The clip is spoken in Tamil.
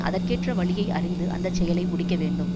அதற்கேற்ற வழியை அறிந்து அந்த செயலை முடிக்க வேண்டும்